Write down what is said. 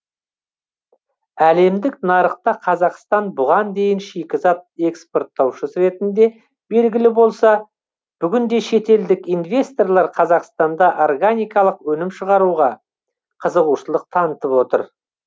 әлемдік нарықта қазақстан бұған дейін шикізат экспорттаушысы ретінде белгілі болса бүгінде шетелдік инвесторлар қазақстанда органикалық өнім шығаруға қызығушылық танытып отыр